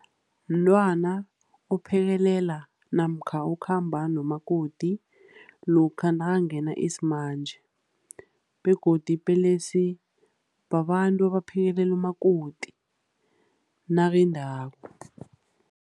Mntwana ophekelela namkha okhamba nomakoti lokha nakangena isimanje, begodu ipelesi babantu abaphekelela umakoti nakendako.